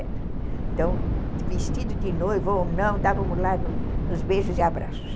Então, vestido de noiva ou não, estávamos lá nos beijos e abraços.